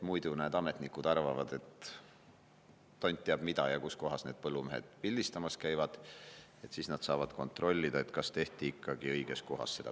Muidu need ametnikud arvavad tont teab mida, et kus kohas need põllumehed pildistamas käivad, aga siis saab kontrollida, kas see pilt tehti ikkagi õiges kohas.